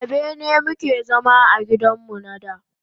A bene mu ke zama a gidan mu na da.